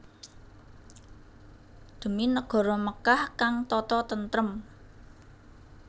Dhemi negara Mekkah kang tata tentrem